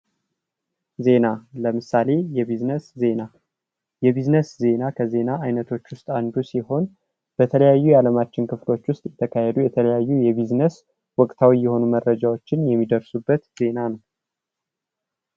ዜና ለምሳሌ የቢዝነስ ዜና የቢዝነስ ዜና ከዜና አይነቶች ውስጥ አንዱ ሲሆን በተለያዩ የአለማችን ክፍሎች ውስጥ የተካሄዱ የተለያዩ የቢዝነስ ወቅታዊ የሆኑ መረጃዎችን የሚደርሱበት ዜና ነው።